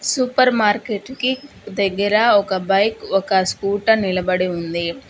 Super market కి దగ్గర ఒక బైక్ ఒక స్కూటర్ నిలబడి ఉంది.